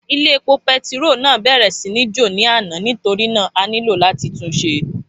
Ilé epo pẹtiro náà bèrè sí ní jò ní àná nítorínà a nílò làti túnṣe.